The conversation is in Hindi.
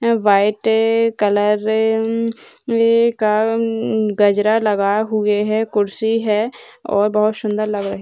व्हाइट कलर का गजरा लगा हुए है कुर्सी है और बहोत सुंदर लग रहे है।